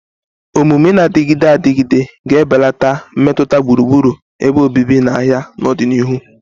Omume na-adịgide adịgide ga-ebelata mmetụta gburugburu ebe obibi na ahịa n'ọdịnihu.